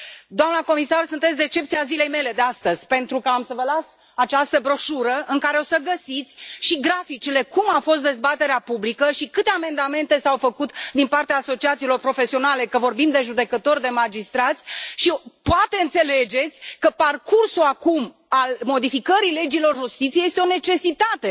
Doamna comisar, sunteți decepția zilei mele de astăzi, pentru că am să vă las această broșură, în care o să găsiți și graficele cum a fost dezbaterea publică și câte amendamente s au făcut din partea asociațiilor profesionale, fie că vorbim de judecători, de magistrați și poate înțelegeți că parcursul, acum, al modificării legilor justiției este o necesitate.